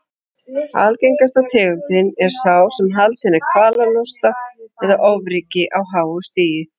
Algengasta tegundin er sá sem haldinn er kvalalosta eða ofríki á háu stigi.